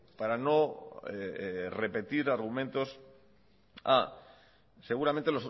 para no repetir argumentos a seguramente